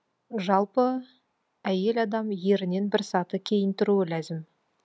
жалпы әйел адам ерінен бір саты кейін тұруы ләзім